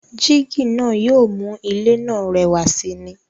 Jígí náà yóò mú ilé náà rẹwà sì ni.